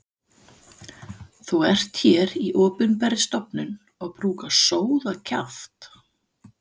Þú ert hér í opinberri stofnun og brúkar sóðakjaft.